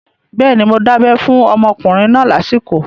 Bẹ́ẹ̀ni, mo dábẹ́ fún ọmọkùnrin náà lásìkò